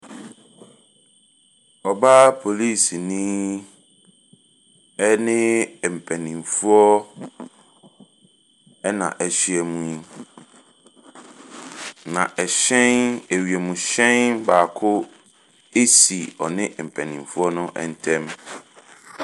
Ɔbaa polisini ne mpanimfoɔ na wɔahyiam, na hyɛn wiemhyɛn baako si ɔne mpanimfoɔ no ntam.